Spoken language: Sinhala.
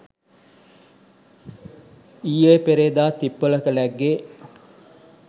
ඊයේ පෙරේද තිප්පොලක ලැග්ගේ.